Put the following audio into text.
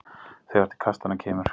Þegar til kastanna kemur